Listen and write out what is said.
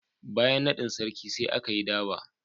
Bayan naɗin Sarki, sai aka yi Durbar.